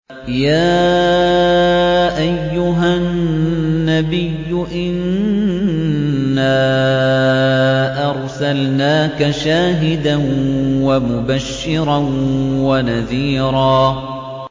يَا أَيُّهَا النَّبِيُّ إِنَّا أَرْسَلْنَاكَ شَاهِدًا وَمُبَشِّرًا وَنَذِيرًا